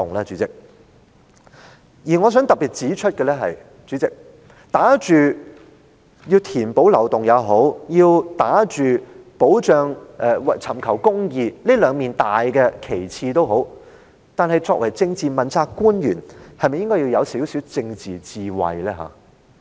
主席，我想特別指出，不論是打着填補漏洞抑或是尋求公義這兩面大旗幟，作為政治問責官員，他是否需要有些政治智慧呢？